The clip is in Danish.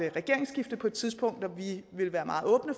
et regeringsskifte på et tidspunkt og vi vil være meget åbne